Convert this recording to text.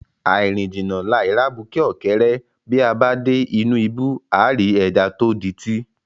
Àì rìn jìnnà, làì rí abuké ọ̀kẹ́rẹ́, bí a bá dé inú ibú, àá rí ẹja tó dití.